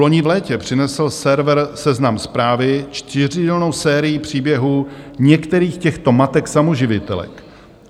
Vloni v létě přinesl server Seznam Zprávy čtyřdílnou sérii příběhů některých těchto matek samoživitelek.